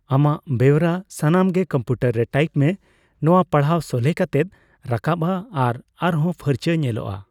ᱟᱢᱟᱜ ᱵᱮᱣᱨᱟ ᱥᱟᱱᱟᱢ ᱜᱮ ᱠᱚᱢᱯᱤᱣᱴᱟᱨ ᱨᱮ ᱴᱟᱭᱤᱯ ᱢᱮ, ᱱᱚᱣᱟ ᱯᱟᱲᱦᱟᱣ ᱥᱚᱞᱦᱮ ᱠᱟᱛᱮ ᱨᱟᱠᱟᱵᱼᱟ ᱟᱨ ᱟᱨᱦᱚᱸ ᱯᱷᱟᱨᱪᱟ ᱧᱮᱞᱚᱜᱼᱟ ᱾